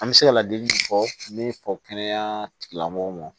An bɛ se ka ladili min fɔ min fɔ kɛnɛya tigilamɔgɔw ma